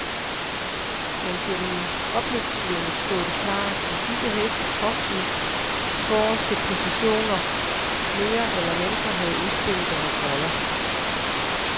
Men gennem opløbssvinget stod det klart, at disse heste trods de forreste positioner mere eller mindre havde udspillet deres roller.